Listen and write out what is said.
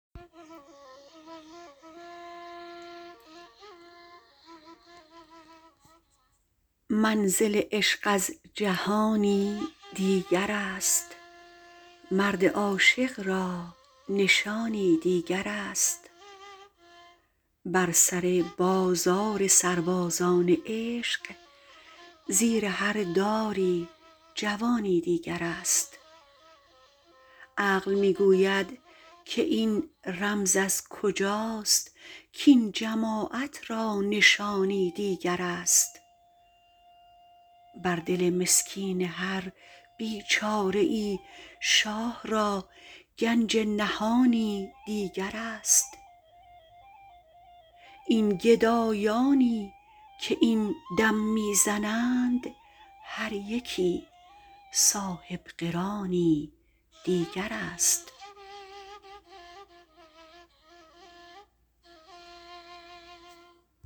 منزل عشق از جهانی دیگر است مرد عاشق را نشانی دیگر است بر سر بازار سربازان عشق زیر هر داری جوانی دیگر است عقل می گوید که این رمز از کجاست کاین جماعت را نشانی دیگر است بر دل مسکین هر بیچاره ای شاه را گنج نهانی دیگر است این گدایانی که این دم می زنند هر یکی صاحبقرانی دیگر است